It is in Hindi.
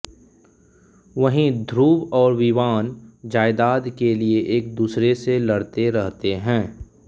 वहीं ध्रुव और विवान जायदाद के लिए एक दूसरे से लड़ते रहते हैं